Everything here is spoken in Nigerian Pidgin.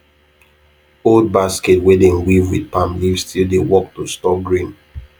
old basket wey dem weave with palm leaf still dey work to store grain